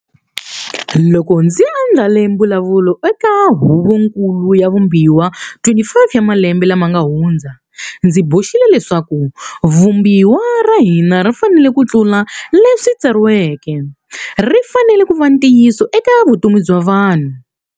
Loko ndzi andlale mbulavulo eka Huvonkulu ya Vumbiwa 25 wa malembe lama nga hundza, ndzi boxile leswaku Vumbiwa ra hina ri fanele ku tlula leswi tsariweke, ri fanele ku va ntiyiso eka vutomi bya vanhu.